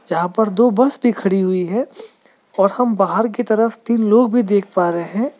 जहां पर दो बस भी खड़ी हुई है और हम बाहर की तरफ तीन लोग भी देख पा रहे हैं।